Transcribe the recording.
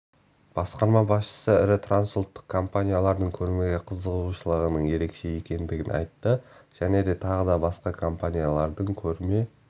басқарма басшысы ірі транссұлттық компаниялардың көрмеге қызығушылығының ерекше екендігін айтты және тағы да басқа компаниялардың көрме